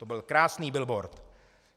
- To byl krásný billboard.